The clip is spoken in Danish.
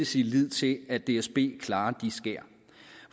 sin lid til at dsb klarer skærene